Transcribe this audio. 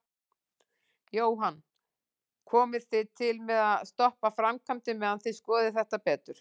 Jóhann: Komið þið til með að stoppa framkvæmdir meðan þið skoðið þetta betur?